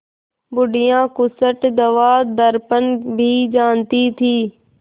बुढ़िया खूसट दवादरपन भी जानती थी